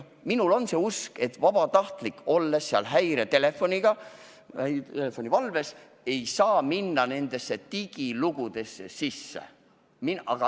Mul on see usk, et vabatahtlik, olles häiretelefoni valves, ei saa end digilugudesse sisse logida.